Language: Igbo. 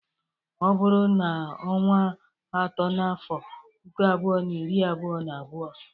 Ọ bụrụ n'onwa atọ n'afọ puku abụo na iri abụo na abụo.